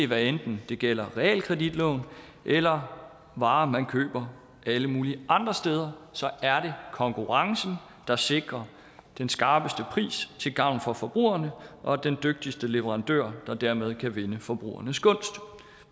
hvad enten det gælder realkreditlån eller varer man køber alle mulige andre steder er det konkurrencen der sikrer den skarpeste pris til gavn for forbrugerne og den dygtigste leverandør der dermed kan vinde forbrugernes gunst